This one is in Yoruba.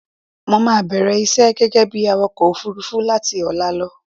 Mo máa bẹ̀rẹ̀ iṣẹ́ gẹ́gẹ́ bí awakọ òfurufú láti ọ̀la lọ.